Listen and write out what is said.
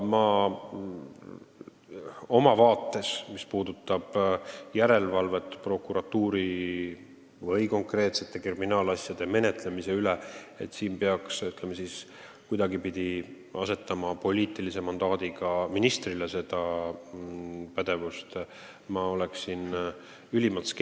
Aga mis puutub järelevalvesse prokuratuuri või konkreetsete kriminaalasjade menetlemise üle, siis ma olen ülimalt skeptiline, et poliitilise mandaadiga ministrile peaks seda pädevust juurde andma.